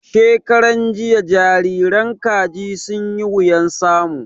Shekaran jiya jariran Kaji sun yi wuyan samu